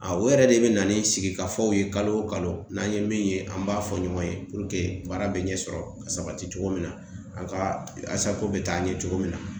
A o yɛrɛ de bɛ na ni sigikafɔw ye kalo o kalo n'an ye min ye an b'a fɔ ɲɔgɔn ye baara bɛ ɲɛsɔrɔ ka sabati cogo min na a ka bɛ taa ɲɛ cogo min na